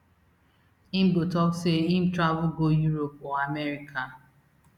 im go tok say im travel go europe or america